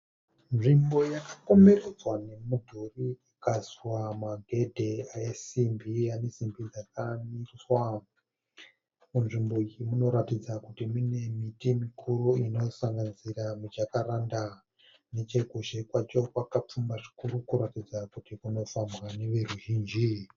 Nzvimbo yakakomberedzwa nemudhuri ikaiswa magedhe esimbi ane simbi dzakamiswa. Muzvimbo iyi munoratidza kuti mune miti mikuru inosanganisira mijakaranda. Nechekuzhe kwacho kwakapfumba zvikuru kunoratidza kuti kunofambwa nevrruzhinji.